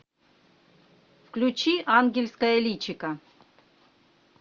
включи ангельское личико